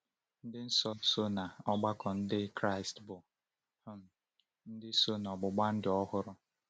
Ndị nsọ nọ n’ọgbakọ Ndị Kraịst bụ um ndị so na “ọgbụgba ndụ ọhụrụ.”